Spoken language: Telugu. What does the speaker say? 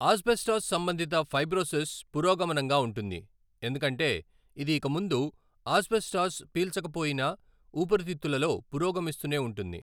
ఆస్బెస్టాస్ సంబంధిత ఫైబ్రోసిస్ పురోగమనంగా ఉంటుంది, ఎందుకంటే ఇది ఇకముందు ఆస్బెస్టాస్ పీల్చకపోయినా ఊపిరితిత్తులలో పురోగమిస్తూనే ఉంటుంది.